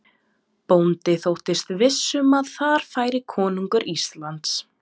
Bóndi þóttist viss um að þar færi konungur Íslands.